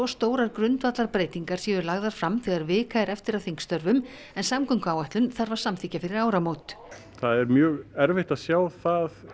stórar grundvallarbreytingar séu lagðar fram þegar vika er eftir af þingstörfum en samgönguáætlun þarf að samþykkja fyrir áramót það er mjög erfitt að sjá það